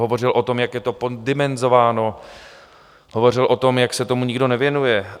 Hovořil o tom, jak je to poddimenzováno, hovořil o tom, jak se tomu nikdo nevěnuje.